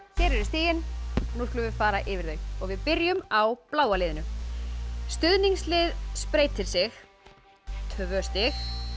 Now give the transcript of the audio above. hér eru stigin nú skulum við fara yfir þau og við byrjum á bláa liðinu stuðningslið spreytir sig tvö stig